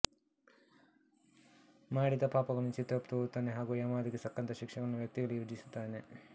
ಮಾಡಿದ ಪಾಪಗಳನ್ನು ಚಿತ್ರಗುಪ್ತ ಓದುತ್ತಾನೆ ಹಾಗೂ ಯಮ ಅದಕ್ಕೆ ತಕ್ಕಂತಹ ಶಿಕ್ಷೆಗಳನ್ನು ವ್ಯಕ್ತಿಗಳಿಗೆ ವಿಧಿಸುತ್ತಾನೆ